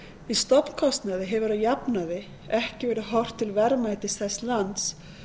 í stofnkostnaði hefur að jafnaði ekki verið horft til verðmætis þess lands